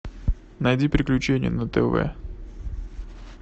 найди приключения на тв